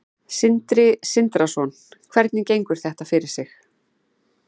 Sindri Sindrason: Hvernig gengur þetta fyrir sig?